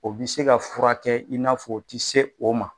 O bi se ka furakɛ in n'a fɔ o ti se o ma